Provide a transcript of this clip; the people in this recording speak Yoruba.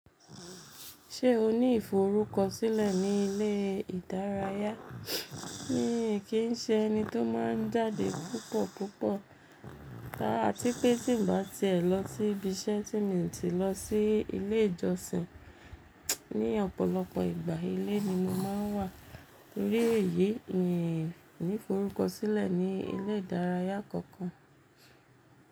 Ṣé o ní ìforúkọsílẹ̀ ní ilé ìdárayá? Kí n ṣe ẹni tó máa ń jáde púpọ̀ púpọ̀, áti pé tí ń bá tẹ́ ẹ lọ síbi iṣẹ́ tí ń tì lọ sí ilé ìjọsìn. Ní ọ̀pọ̀lọpọ̀ ìgbà, ilé ni mo máa ń wà. Nítorí èyí, mì ní ìforúkọ sílẹ̀ ní ilé ìdárayá kankan.